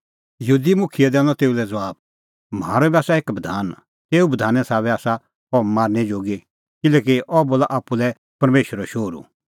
यहूदी मुखियै दैनअ तेऊ लै ज़बाब म्हारअ बी आसा एक बधान तेऊ बधाने साबै आसा अह मारनै जोगी किल्हैकि अह बोला आप्पू लै परमेशरो शोहरू